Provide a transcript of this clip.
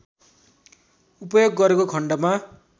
उपयोग गरेको खण्डमा